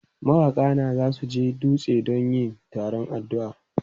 Mawaka na za su je dutse don yin taron addu'a.